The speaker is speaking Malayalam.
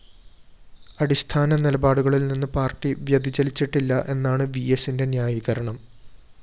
അടിസ്ഥാന നിലപാടുകളില്‍നിന്ന് പാര്‍ട്ടി വ്യതിചലിച്ചിട്ടില്ല എന്നാണ് വിഎസിന്റെ ന്യായീകരണം